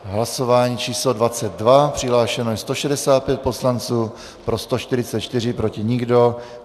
Hlasování číslo 22, přihlášeno je 165 poslanců, pro 144, proti nikdo.